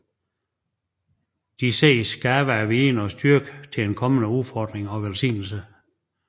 De ses gaver af viden og styrke til ens kommende udfordringer og velsignelser